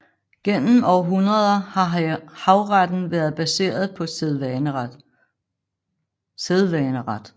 Gennem århundreder har havretten været baseret på sædvaneret